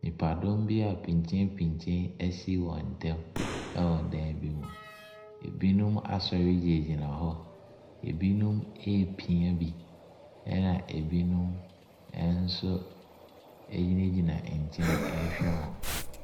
Nnipadɔm bia pinkyenpinkyen ɛsi wɔntɛm ɛwɔ dan bi mu. Ebinom asɔre gyinagyina hɔ. Ebinom ɛrepia bi, ɛna ebinom ɛnso egyinagyina ɛnkyɛn ɛrehwɛ wɔn.